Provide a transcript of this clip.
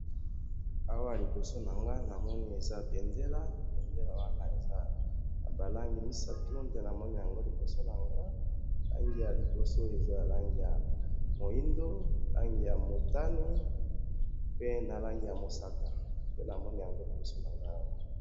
awa liboso na nga namoni eza bendele, bendele wana eza na ba langi misatu, nde namoni yango liboso na nga, langi ya liboso eza langi ya moindo, langi ya motane, pe langi ya mosaka, nde namoni liboso na ngai awa.